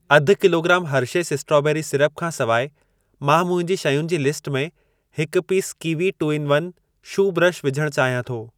अधु kilogram Hershey's strawberry syrup खां सिवाइ मां मुंहिंजी शयुनि जी लिस्ट में हिकु piece kiwi two in one shoe brush विझण चाहियां थो।